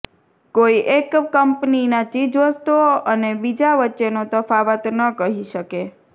કોઈ એક કંપનીના ચીજવસ્તુઓ અને બીજા વચ્ચેનો તફાવત ન કહી શકે